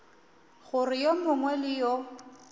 gore yo mongwe le yo